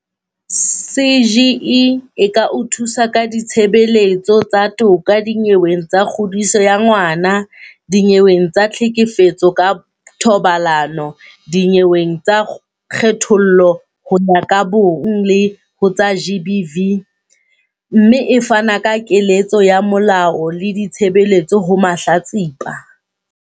CGE e ka o thusa ka ditshebeletso tsa toka dinyeweng tsa kgodiso ya ngwana, dinyeweng tsa tlhekefetso ka thobalano, dinyeweng tsa kgethollo ho ya ka bong le ho tsa GBV, mme e fana ka keletso ya molao le ditshebeletso ho mahlatsipa.